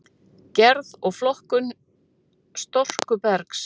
Gerð og flokkun storkubergs